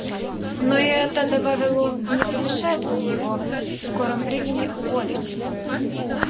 но и это добавил он не помешает мне его в скором времени уволить